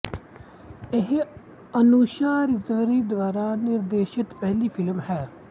ਇਹ ਅਨੁਸ਼ਾ ਰਿਜਵੀ ਦੁਆਰਾ ਨਿਰਦੇਸ਼ਤ ਪਹਿਲੀ ਫਿਲਮ ਹੈ